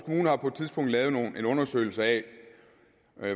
har på et tidspunkt lavet en undersøgelse af